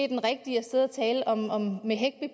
den rigtige